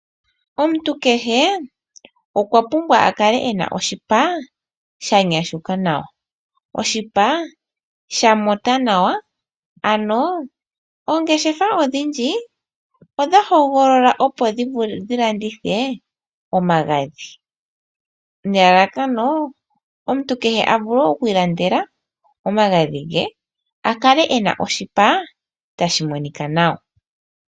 Omuntu kehe okwa pumbwa a kale e na oshipa shanyashuka nawa, oshipa shatuta nawa. Oongeshefa odhindji odha hogolola opo dhi landithe omagadhi nelalakano omuntu kehe a vule oku ilandela omagadhi ge a kale e na oshipa tashi monika nawa.